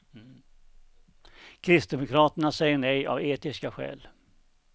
Kristdemokraterna säger nej av etiska skäl.